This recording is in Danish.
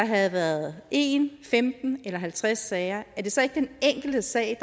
havde været en femten eller halvtreds sager den enkelte sag